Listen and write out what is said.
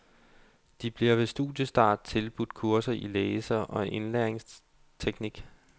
De bliver ved studiestart tilbudt kurser i læse og indlæringsteknik.